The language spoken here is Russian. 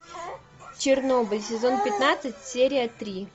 чернобыль сезон пятнадцать серия три